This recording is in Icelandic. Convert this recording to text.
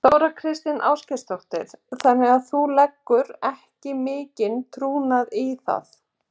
Þóra Kristín Ásgeirsdóttir: Þannig að þú leggur ekki mikinn trúnað á það?